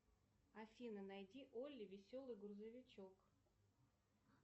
афина найди олли веселый грузовичок